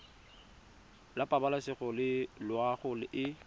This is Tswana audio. la pabalesego le loago e